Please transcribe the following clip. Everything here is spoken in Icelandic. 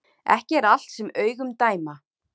Ekki er allt sem augun dæma